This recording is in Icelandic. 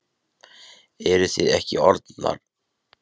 Eruð þið ekki orðnir nógu vel undirbúnir til að svara okkar spurningum?